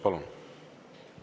Palun!